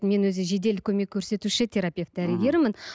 мен өзі жедел көмек көрсетуші терапевт дәрігермін